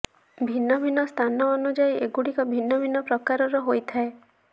ଭିନ୍ନ ଭିନ୍ନ ସ୍ଥାନ ଅନୁଯାୟୀ ଏଗୁଡିକ ଭିନ୍ନ ଭିନ୍ନ ପ୍ରକାରର ହୋଇଥାଏ